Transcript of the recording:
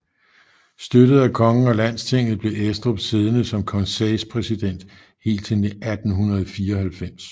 Støttet af kongen og Landstinget blev Estrup siddende som konseilspræsident helt til 1894